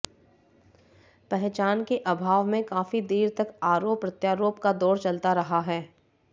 पहचान के अभाव में काफी देर तक आरोप प्रत्यारोप का दौर चलता रहा है